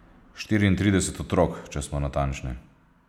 Štiriintrideset otrok, če smo natančni.